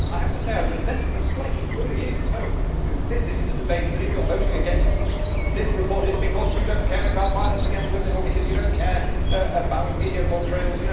But I have to say that I resent the slightly bullying tone implicit in the debate that, if you are voting against this report, it is because you do not care about violence against women or because you do not care about media portrayals.